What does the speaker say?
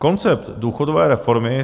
Koncept důchodové reformy